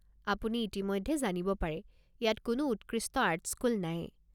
আপুনি ইতিমধ্যে জানিব পাৰে, ইয়াত কোনো উৎকৃষ্ট আৰ্ট স্কুল নাই।